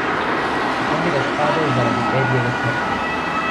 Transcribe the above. Zakon je razpadel zaradi Edijeve smrti.